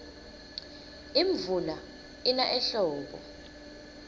imvula ina ehlobo